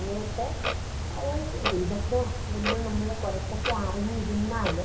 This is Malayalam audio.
എന്നിട്ട് ഉം ഇതൊക്കെ നമ്മള് കൊറച്ച് അറിഞ്ഞിരുന്നാല്